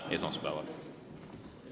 Näeme esmaspäeval.